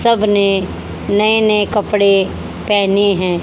सबने नए नए कपड़े पहने हैं।